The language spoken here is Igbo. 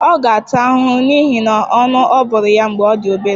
Ọ ga-ata ahụhụ n'ihi na ọnụ a bụrụ ya mgbe ọ dị obere.